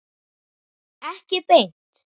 Ekki beint